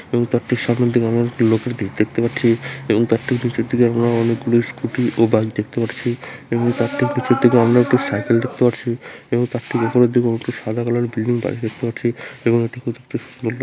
এবং তার ঠিক সামনের দিকে আমরা একটি লোকের ভিতর দেখতে পাচ্ছি এবং তার তার ঠিক পেছনের দিকে আমরা অনেক গুলি স্কুটি ও বাইক দেখতে পাচ্ছি এবং তার ঠিক পেছনের দিকে আমরা একটি সাইকেল দেখতে পাচ্ছি এবং তার ঠিক উপরের দিকে উঠে সাদা কালারের বিল্ডিং বাড়ি দেখতে পাচ্ছি এবং --